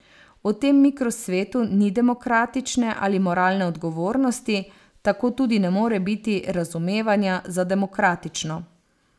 V tem mikrosvetu ni demokratične ali moralne odgovornosti, tako tudi ne more biti razumevanja za demokratično.